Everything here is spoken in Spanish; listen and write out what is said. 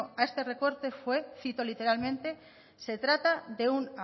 a este recorte fue cito literalmente se trata de un